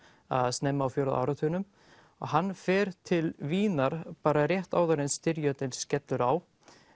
snemma á fjórða áratugnum og hann fer til Vínar bara rétt áður en styrjöldin skellur á